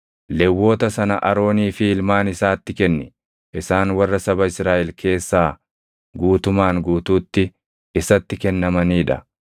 Lewwota sana Aroonii fi ilmaan isaatti kenni; isaan warra saba Israaʼel keessaa guutumaan guutuutti isatti kennamanii dha.